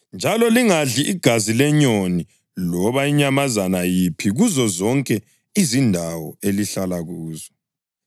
Njalo lingadli igazi lenyoni loba inyamazana yiphi kuzozonke izindawo elihlala kuzo.